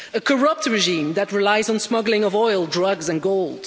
A corrupt regime that relies on the smuggling of oil, drugs and gold.